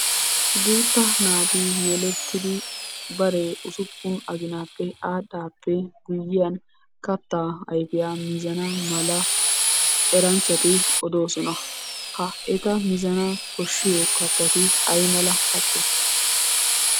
Guutta naati yelettidi bare usuppun aginappe aadhdhaappe guyyiyan kattaa ayifiya mizana mala eranchchati odoosona. Ha eta mizana koshshiyo kattati ayimala katte?